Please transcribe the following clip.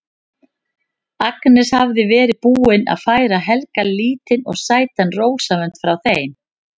Agnes hafði verið búin að færa Helga lítinn og sætan rósavönd frá þeim